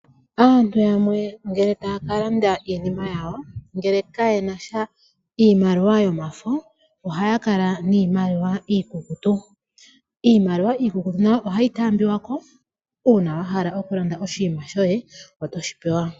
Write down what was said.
Aantu yamwe ngele ta kalanda iinima yawo ngele kaye nasha iimaliwa yomafo ,ohaya kala miimaliwa iikukutu. Iimaliwa iikukutu nayo ohayi tambiwako uuna wala oku landa oshima shoye, otoshi pewa